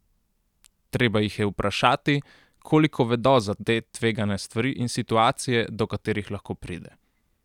Treba jih je vprašati, koliko vedo za te tvegane stvari in situacije, do katerih lahko pride.